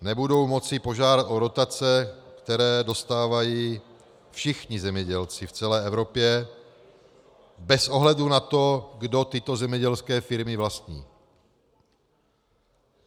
Nebudou moci požádat o dotace, které dostávají všichni zemědělci v celé Evropě bez ohledu na to, kdo tyto zemědělské firmy vlastní.